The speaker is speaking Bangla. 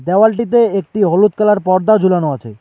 দেওয়ালটিতে একটি হলুদ কালার পর্দা ঝুলানো আছে।